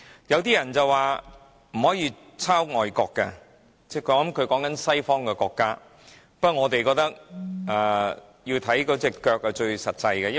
有些人說不可以抄襲外國的的做法，不過，我們認為看行動便最實際。